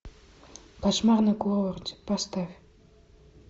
кошмар на курорте поставь